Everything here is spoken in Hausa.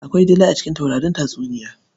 Akwai dila a cikin taurarin tatuniya.